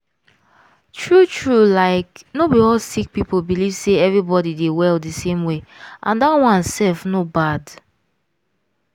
true true like no be all sick people believe say everybody dey well di same way and dat one sef no bad.